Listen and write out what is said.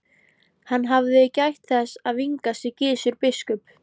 Hann hafði gætt þess að vingast við Gizur biskup.